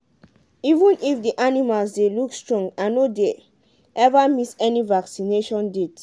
even if the animals dey look strong i no dey ever miss any vaccination date.